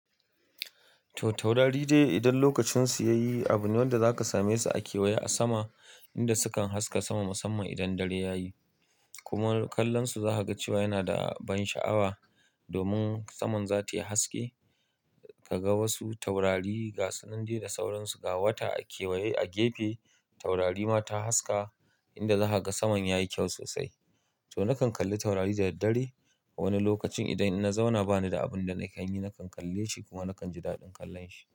To taurari dai idan lokacin su ya yi, abune wanda za ka same su a kewaye a sama, inda sukan haska sama musamman idan dare ya yi. Kuma kallon su za ka ga cewa yana da ban sha'awa. Domin saman za ta yi haske, ka ga wasu taurari gasunan dai da sauransu ga wata a kewaye a gefe. Taurari ma ta haska inda za ka ga saman ya yi kyau sosai. To nakan kalli taurari da daddare. A wani lokacin idan na zauna bani da abun da na kan yi, nakan kalle shi kuma nakan ji daɗin kallon shi.